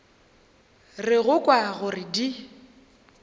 re go kwa gore di